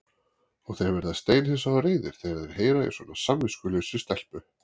Og þeir verða steinhissa og reiðir þegar þeir heyra í svona samviskulausri stelpu.